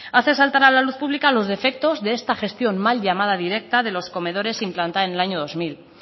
hace saltar a la luz pública los defectos de esta gestión mal llamada directa de los comedores implantada en el año dos mil